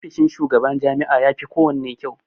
Ofishin shugaban jami'a yafi kowanne kyau.